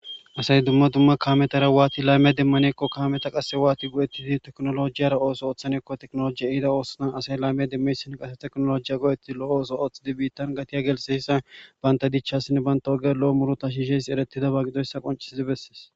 Asay dumma dumma kaametara waati laymiya demmaneekko kaameta qasse waati go'ettidi teknolojiyara ooso ooththanekko teknolojiya ihida oossna asay laymiya demmesin qase teknolojiya go'etti lo'o ooso ooththidi biittan gatiya gelseyssa banta dichasin banta oge lo'o murota shiishes eretidaba qidoyssa qoncisidi besses.